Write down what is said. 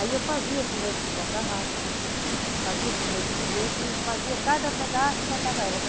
Aí eu fazia os começos da tarrafa, fazia os começos de rede e fazia cada pedaço e botava elas.